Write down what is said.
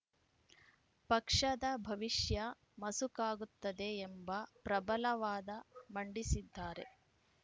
ಪಕ್ಷದ ಭವಿಷ್ಯ ಮಸುಕಾಗುತ್ತದೆ ಎಂಬ ಪ್ರಬಲ ವಾದ ಮಂಡಿಸಿದ್ದಾರೆ